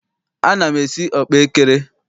Ana m esi ọkpaekere.